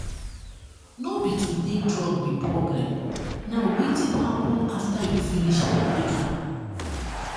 no be to take drug be problem na wetin happen after you finish take am.